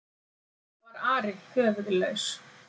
Það var Ari höfuðlaus!